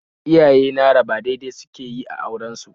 Iyaye na raba dai-dai suke yi a auren su